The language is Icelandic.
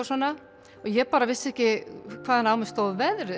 svona ég vissi ekki hvaðan á mig stóð veðrið